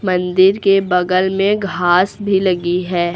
मंदिर के बगल में घास भी लगी है।